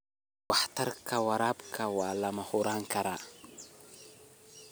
Waxtarka waraabka waa la horumarin karaa.